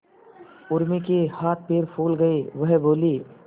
उर्मी के हाथ पैर फूल गए वह बोली